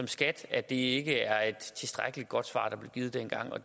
skat at det ikke er et tilstrækkelig godt svar der blev givet dengang og